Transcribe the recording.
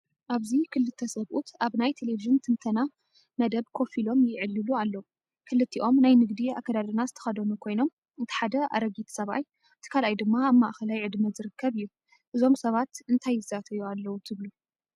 ኣብዚ ክልተ ሰብኡት ኣብ ናይ ቴሌቪዥን ትንተና መደብ ኮፍ ኢሎም ይዕልሉ ኣለዉ። ክልቲኦም ናይ ንግዲ ኣከዳድና ዝተኸድኑ ኮይኖም፡ እቲ ሓደ ኣረጊት ሰብኣይ እቲ ካልኣይ ድማ ኣብ ማእከላይ ዕድመ ዝርከብ እዩ። እዞም ሰባት እንታይ ይዛተዩ ኣለዉ ትብሉ?